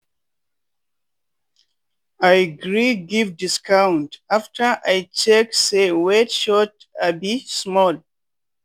i gree give discount after i check say weight short um small.